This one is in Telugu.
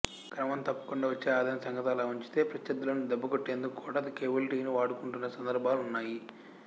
క్రమం తప్పకుండా వచ్చే అదాయం సంగతలా ఉంచితే ప్రత్ర్యర్థులను దెబ్బకొట్టేందుకు కూడా కేబుల్ టీవీని వాడుకుంటున్న సందర్భాలున్నాయి